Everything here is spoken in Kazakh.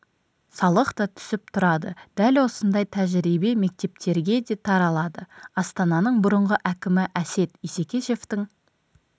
салық та түсіп тұрады дәл осындай тәжірибе мектептерге де таралады астананың бұрынғы әкімі әсет исекешевтің